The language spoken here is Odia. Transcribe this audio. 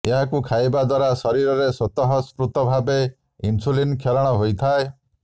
ଏହାକୁ ଖାଇବା ଦ୍ୱାରା ଶରୀରରେ ସ୍ୱତଃ ସ୍ପୃତ ଭାବେ ଇନ୍ସୁଲିନ କ୍ଷରଣ ହୋଇଥାଏ